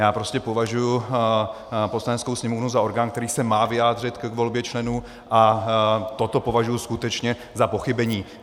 Já prostě považuji Poslaneckou sněmovnu za orgán, který se má vyjádřit k volbě členů, a toto považuji skutečně za pochybení.